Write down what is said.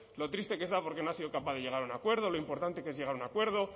lo triste que está porque no ha sido capaz de llegar a un acuerdo lo importante que es llegar a un acuerdo